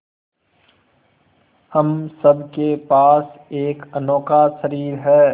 हम सब के पास एक अनोखा शरीर है